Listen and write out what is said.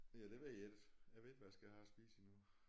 Ja det ved jeg ikke jeg ved ikke hvad jeg skal have at spise endnu